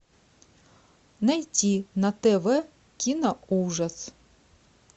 найти на тв киноужас